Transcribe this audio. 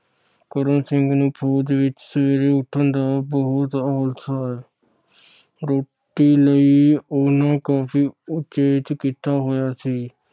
ਕਰਮ ਸਿੰਘ ਨੂੰ ਫੌਜ ਵਿਚ ਸਵੇਰੇ ਉੱਠਣ ਦਾ ਬਹੁਤ ਆਲਸ ਹੈ। ਰੋਟੀ ਲਈ ਉਨ੍ਹਾਂ ਕਾਫੀ ਉਚੇਚ ਕੀਤਾ ਹੋਇਆ ਸੀ।